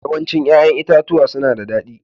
Yawancin 'ya'yan itatuwa suna da daɗi